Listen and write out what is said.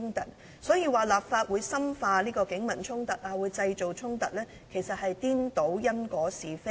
因此，有關立法會深化警民衝突或製造衝突的說法，其實是顛倒因果是非。